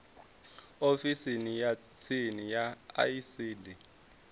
ofisini ya tsini ya icd